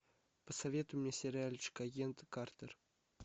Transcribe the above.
посоветуй мне сериальчик агент картер